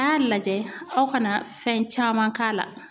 A y'a lajɛ; aw kana fɛn caman k'a la.